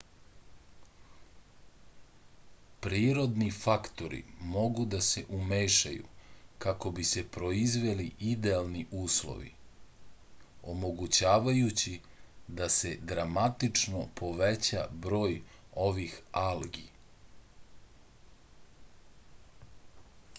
prirodni faktori mogu da se umešaju kako bi se proizveli idealni uslovi omogućavajući da se dramatično poveća broj ovih algi